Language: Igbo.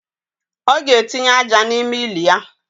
O ga etinye aja na ime ili ya